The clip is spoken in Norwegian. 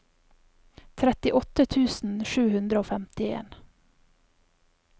trettiåtte tusen sju hundre og femtien